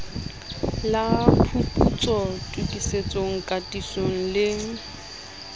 la phuputso tokisetso katiso le